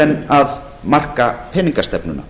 en að marka peningastefnuna